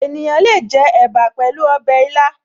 Ènìyàn le è jẹ ẹ̀bà pẹ̀lú ọbẹ̀ ilá